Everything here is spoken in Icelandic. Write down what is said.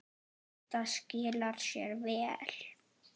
Þetta skilar sér vel.